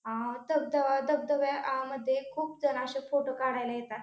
आ धबाधबा धबधब्यामध्ये खूप जण अशे फोटो काढायला येतात.